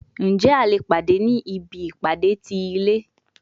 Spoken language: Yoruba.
Njẹ a le pade ni ibi ipade ti ilẹ?